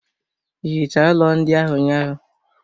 Ị hichaa ụlọ ndị ahụ ụnyaahụ?